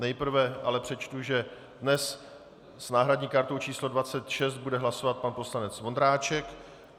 Nejprve ale přečtu, že dnes s náhradní kartou číslo 26 bude hlasovat pan poslanec Vondráček.